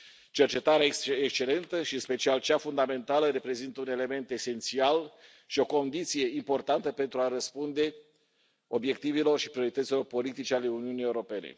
Cercetarea este excelentă și, în special cea fundamentală, reprezintă un element esențial și o condiție importantă pentru a răspunde obiectivelor și priorităților politice ale Uniunii Europene.